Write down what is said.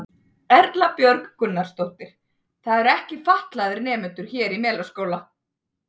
Erla Björg Gunnarsdóttir: Það eru ekki fatlaðir nemendur hér í Melaskóla?